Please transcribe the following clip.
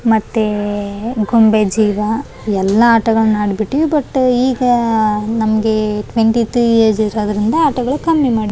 ಈ ಚಿತ್ರವನ್ನು ನೋಡಬಹುದಾದರೆ ಇಲ್ಲಿ ಒಂದು ಶೆತ್ರವು ಕಾಣಲು ಬರುತ್ತಿವೆ ಮತ್ತು ಇಲ್ಲಿ ಸೂರ್ಯವು ಕಾಣಿಸಲು ಬರುತ್ತಿದೆ ಇಲ್ಲಿ.